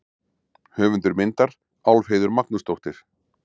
Höfundur myndar: Álfheiður Magnúsdóttir.